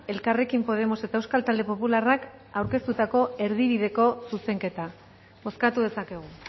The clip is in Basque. elkarrekin podemos eta euskal talde popularrak aurkeztutako erdibideko zuzenketa bozkatu dezakegu